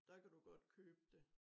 Der kan du godt købe det